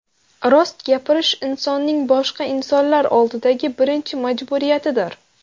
Rost gapirish insonning boshqa insonlar oldidagi birinchi majburiyatidir.